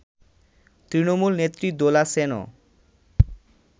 তৃণমূল নেত্রী দোলা সেনও